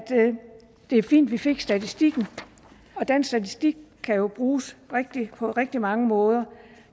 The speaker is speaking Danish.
det er fint at vi fik statistikken og den statistik kan jo bruges på rigtig mange måder